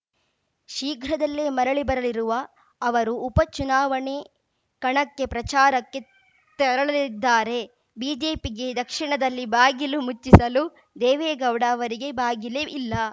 ಶೀಘ್ರದಲ್ಲೇ ಮರಳಿ ಬರಲಿರುವ ಅವರು ಉಪ ಚುನಾವಣೆ ಕಣಕ್ಕೆ ಪ್ರಚಾರಕ್ಕೆ ತೆರಳಲಿದ್ದಾರೆ ಬಿಜೆಪಿಗೆ ದಕ್ಷಿಣದಲ್ಲಿ ಬಾಗಿಲು ಮುಚ್ಚಿಸಲು ದೇವೇಗೌಡ ಅವರಿಗೆ ಬಾಗಿಲೇ ಇಲ್ಲ